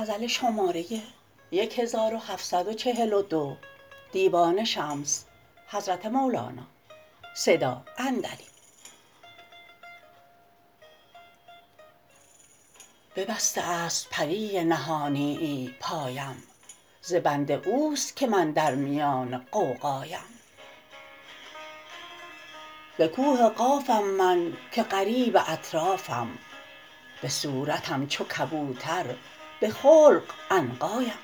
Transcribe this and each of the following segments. ببسته است پری نهانیی پایم ز بند اوست که من در میان غوغایم ز کوه قافم من که غریب اطرافم به صورتم چو کبوتر به خلق عنقایم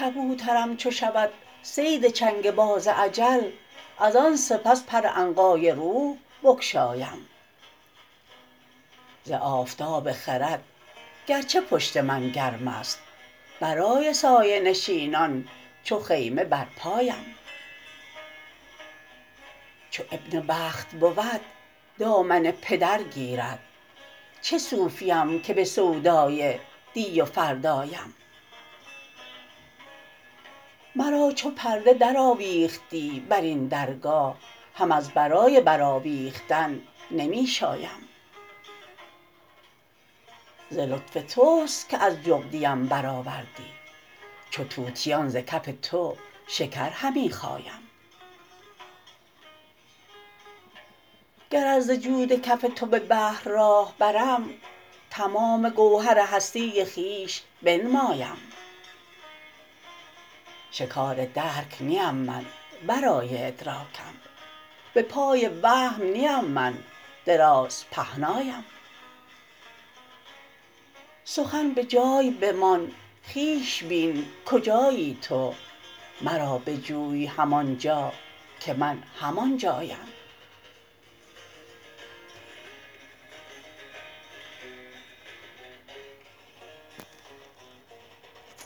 کبوترم چو شود صید چنگ باز اجل از آن سپس پر عنقای روح بگشایم ز آفتاب خرد گرچه پشت من گرم است برای سایه نشینان چو خیمه برپایم چو ابن وقت بود دامن پدر گیرد چه صوفیم که به سودای دی و فردایم مرا چو پرده درآویختی بر این درگاه هم از برای برآویختن نمی شایم ز لطف توست که از جغدیم برآوردی چو طوطیان ز کف تو شکر همی خایم اگر ز جود کف تو به بحر راه برم تمام گوهر هستی خویش بنمایم شکار درک نیم من ورای ادراکم به پای وهم نیم من درازپهنایم سخن به جای بمان خویش بین کجایی تو مرا بجوی همان جا که من همان جایم